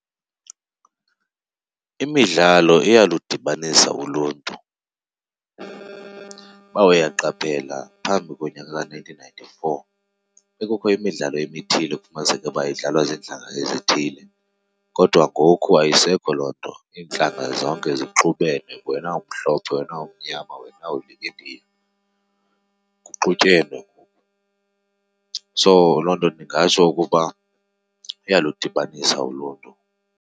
Imidlalo iyaludibanisa uluntu. Uba uyaqaphela phambi konyaka ka-nineteen ninety-four bekukho imidlalo ebithile kufumaniseke uba idlalwa ziintlanga ezithile, kodwa ngoku ayisekho loo nto. Iintlanga zonke zixubene, wena umhlophe, wena umnyama, wena uli-Indiya, kuxutyenwe ngoku. So loo nto ndingatsho ukuba iyaludibanisa uluntu.